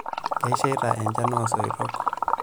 Kesheita enchan oosoitok.